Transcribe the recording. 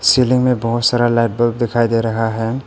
Ceiling मैं बहुत सारा लाइट बल्ब दिखाई दे रहा है।